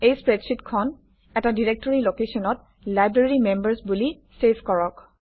এই স্প্ৰেডশ্বিটখন এটা ডিৰেক্টৰী লোকেশ্যনত লাইব্ৰেৰীমেম্বাৰ্ছ বুলি চেভ কৰক